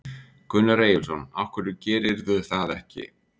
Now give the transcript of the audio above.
Gunnar Eyjólfsson: Af hverju gerirðu það ekki?